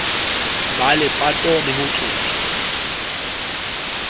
ya lepato le ho tloswa